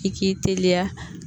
I k'i teliya